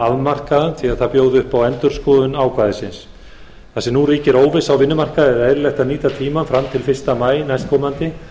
afmarkaðan því að það bjóði upp á endurskoðun ákvæðisins þar sem nú ríkir óvissa á vinnumarkaði er eðlilegt að nýta tímann fram til fyrsta maí næstkomandi